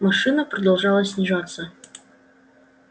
машина продолжала снижаться